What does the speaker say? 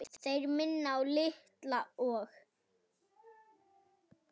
Þeir minna á Litla og